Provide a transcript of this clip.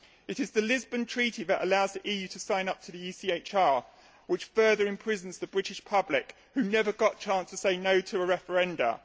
It is the Lisbon Treaty that allows the EU to sign up to the ECHR, which further imprisons the British public, who never got a chance to say no through a referendum.